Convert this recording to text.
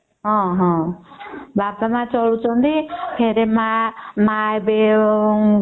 ବାପା ମା ଚଳୁ ଛନ୍ତି ଫେର ମାଆ ଏବେ